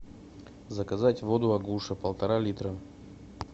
заказать воду агуша полтора литра